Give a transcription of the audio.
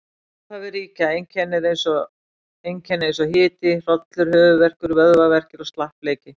Í upphafi ríkja einkenni eins og hiti, hrollur, höfuðverkur, vöðvaverkir og slappleiki.